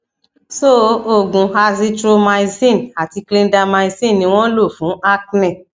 so oògùn azithromycin àti clindamycin ni wọn lo fun acne